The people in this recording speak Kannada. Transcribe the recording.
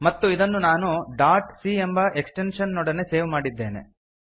ಮತ್ತು ಇದನ್ನು ನಾನು ಡಾಟ್ ಸಿ ಎಂಬ ಎಕ್ಸ್ಟೆಂಶನ್ ನೊಡನೆ ಸೇವ್ ಮಾಡಿದ್ದೇನೆ